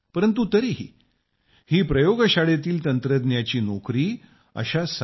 परंतु तरीही ही प्रयोगशाळेतील तंत्रज्ञांची नोकरी ही सामान्य नोकरी आहे